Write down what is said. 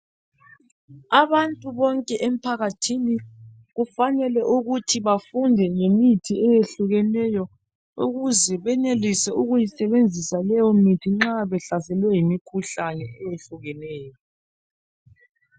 Abantu bonke emphakathini kufanele ukuthi bafunde ngemithi eyehlukeneyo ukuze benelise ukuyisebesa leyo mithi nxa behlaselwe yimikhuhlane eyehlukeneyo